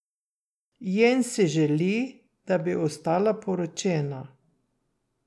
Jen si želi, da bi ostala poročena.